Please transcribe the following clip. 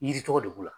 Yiri tɔgɔ de b'o la